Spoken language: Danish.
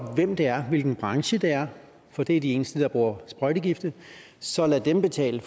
hvem det er hvilken branche det er for det er den eneste der bruger sprøjtegifte så lad dem betale